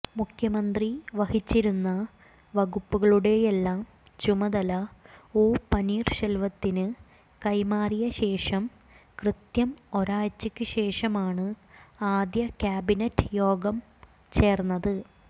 മുഖ്യമന്ത്രി വഹിച്ചിരുന്ന വകുപ്പുകളുടെയെല്ലാം ചുമതല ഒ പനീര്ശെല്വത്തിന് കൈമാറിയ ശേഷം കൃത്യം ഒരാഴ്ചയ്ക്ക് ശേഷമാണ് ആദ്യ കാബിനറ്റ് യോഗം ചേര്ന്നത്